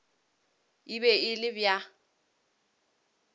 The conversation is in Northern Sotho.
e be e le bja